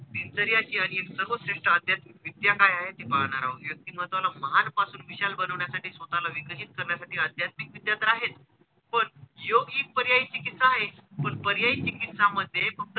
दिनचर्या अशी आणि एक सर्वश्रेष्ठ आध्यात्मिक विद्या काय आहे ती पाहणार आहोत. वक्तिमत्वाला महान पासून विशाल बनवण्यासाठी स्वतःला विकसित करण्यासाठी आध्यात्मिक विद्या तर आहेच पण योग हि एक पर्यायी चिकित्सा आहेच पण पर्यायी चिकीत्सा मध्ये फक्त,